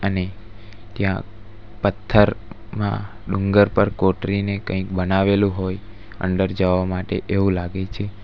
અને ત્યાં પથ્થરમાં ડુંગર પર કોતરીને કંઈક બનાવેલું હોય અંદર જવા માટે એવું લાગે છે.